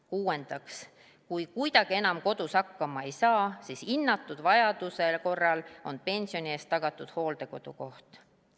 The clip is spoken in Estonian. Kuuendaks, kui kuidagi enam kodus hakkama ei saa, siis hinnatud vajaduse korral on pensioni eest tagatud hooldekodukoht.